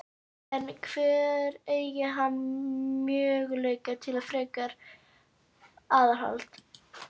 En hvar eygir hann möguleika til frekara aðhalds?